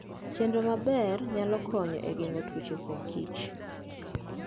Chenro maber nyalo konyo e geng'o tuoche kuom Kich.